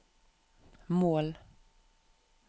mål